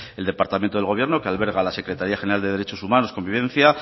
el departamento del gobierno que alberga la secretaría general de derechos humanos y convivencia